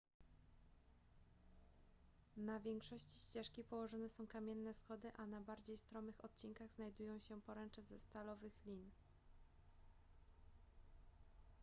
na większości ścieżki położone są kamienne schody a na bardziej stromych odcinkach znajdują się poręcze ze stalowych lin